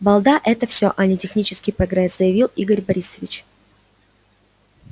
балда это всё а не технический прогресс заявил игорь борисович